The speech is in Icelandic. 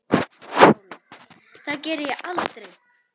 SÓLA: Það geri ég aldrei!